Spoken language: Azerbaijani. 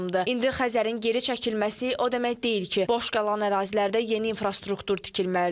İndi Xəzərin geri çəkilməsi o demək deyil ki, boş qalan ərazilərdə yeni infrastruktur tikilməlidir.